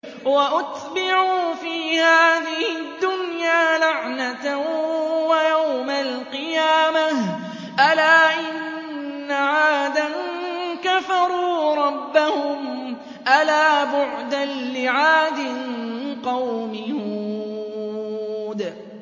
وَأُتْبِعُوا فِي هَٰذِهِ الدُّنْيَا لَعْنَةً وَيَوْمَ الْقِيَامَةِ ۗ أَلَا إِنَّ عَادًا كَفَرُوا رَبَّهُمْ ۗ أَلَا بُعْدًا لِّعَادٍ قَوْمِ هُودٍ